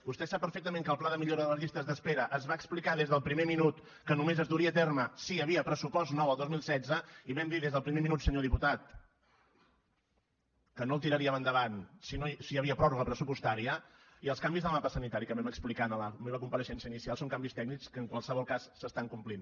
vostè sap perfectament que el pla de millora de les llistes d’espera es va explicar des del primer minut que només es duria a terme si hi havia pressupost nou al dos mil setze i vam dir des del primer minut senyor diputat que no el tiraríem endavant si hi havia pròrroga pressupostària i els canvis al mapa sanitari que vam explicar en la meva compareixença inicial són canvis tècnics que en qualsevol cas s’estan complint